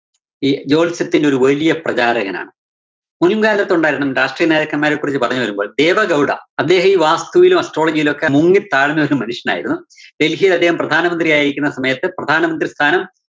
ഈ ജോത്സ്യത്തിന്റെ ഒരു വലിയ പ്രചാരകനാണ്. മുന്‍ കാലത്തുണ്ടായിരുന്ന രാഷ്ട്രീയ നേതാക്കന്മാരെ കുറിച്ച് പറഞ്ഞു വരുമ്പോള്‍, ദേവഗൌഡ അദ്ദേഹം ഈ വാസ്തുവിലും astrology ലും ഒക്കെ മുങ്ങിത്താഴ്ന്നൊരു മനുഷ്യനായിരുന്നു. ഡല്‍ഹിയില്‍ അദ്ദേഹം പ്രധാനമന്ത്രിയായിരിക്കുന്ന സമയത്ത് പ്രധാനമന്ത്രി സ്ഥാനം